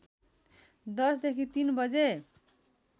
१० देखि ३ बजे